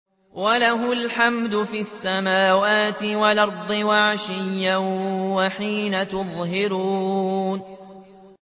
وَلَهُ الْحَمْدُ فِي السَّمَاوَاتِ وَالْأَرْضِ وَعَشِيًّا وَحِينَ تُظْهِرُونَ